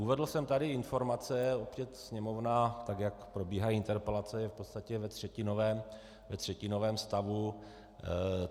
Uvedl jsem tady informace, opět sněmovna, tak jak probíhají interpelace, je v podstatě ve třetinovém stavu.